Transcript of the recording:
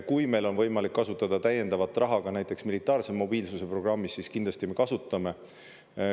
Kui meil on võimalik kasutada täiendavat raha näiteks militaarse mobiilsuse programmist, siis kindlasti me kasutame.